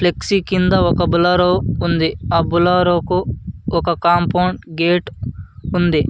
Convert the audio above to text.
Flexi కింద ఒక Bolero ఉంది ఆ బొలెరో కు ఒక కాంపౌండ్ గేట్ ఉంది.